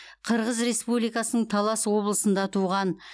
қырғыз республикасының талас облысында туған